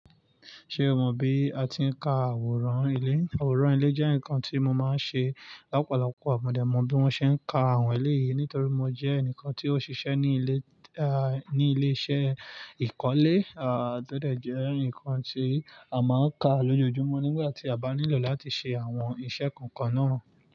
Ṣé o mọ bí a ti ń ka àwòrán ilé? Àwòrán ilé jẹ́ nǹkan tí mo máa ń ṣe. Lopo lopo mo dé mọ bí wọ́n ṣe ń ka àwọn eleyìí nítorí mo jẹ́ ẹnìkan tí ó ṣiṣẹ́ ní ilé, ah, ní ilé iṣẹ́ ìkọ́lé. Àà tọ dẹ̀ jẹ́ ǹkan tí a máa ń ka lójoojúmọ́ nígbà tí a bá nílò láti ṣe àwọn iṣẹ́ kọ̀ọ̀kan náà.